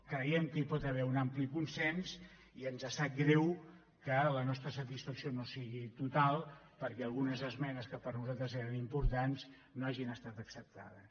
creiem que hi pot haver un ampli consens i ens sap greu que la nostra satisfacció no sigui total perquè algunes esmenes que per nosaltres eren importants no han estat acceptades